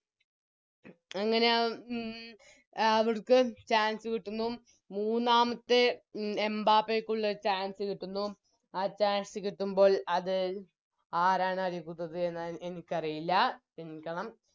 അങ്ങനെ ആ ഉം അവിട്ക്ക് Chance കിട്ടുന്നു മൂന്നാമത്തെ ഉം എംബപ്പേക്കുള്ള ഒരു Chance കിട്ടുന്നു ആ Chance കിട്ടുമ്പോൾ അത് ആരാണ് എതിർത്തത് എന്ന് എനിക്കറിയില്ല ക്ഷെമിക്കണം